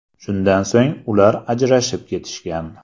Shundan so‘ng ular ajrashib ketishgan.